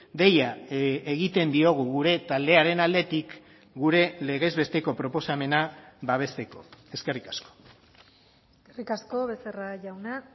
deia egiten diogu gure taldearen aldetik gure legez besteko proposamena babesteko eskerrik asko eskerrik asko becerra jauna